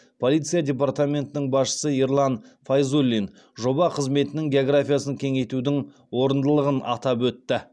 полиция департаментінің басшысы ерлан файзуллин жоба қызметінің географиясын кеңейтудің орындылығын атап өтті